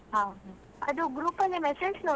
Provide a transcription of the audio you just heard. ಹೌದಾ.